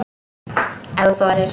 Ef þú þorir!